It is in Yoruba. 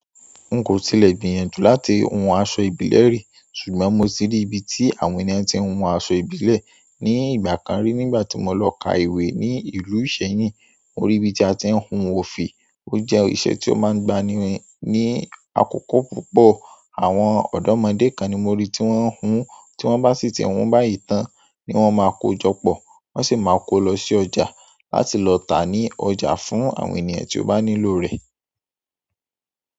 N kò tilẹ̀ gbìyànjú láti hun aṣọ ìbílẹ̀ rí, ṣùgbọ́n mo ti rí ibi tí àwọn ènìyàn tí ń hun aṣọ ìbílẹ̀ ní ìgbà kan rí nígbà tí mo lọ ka ìwé ní ìlú Ìṣẹ́yìn. Mo rí ibi tí a ti ń hun òfì, ó jẹ́ iṣẹ́ tí ó máa ń gbani ni akọ́kọ́ púpọ̀. Àwọn ọ̀dọ́mọdé kan ni mo rí tí wọ́n ń hun, tí wọ́n bá sì ti hun báyìí tán ni wọ́n máa kó jọ pọ̀, wọ́n sì máa kó lọ sí ọjà láti lọ tà ní ọjà fún àwọn ènìyàn tí ó bá nílò rẹ̀.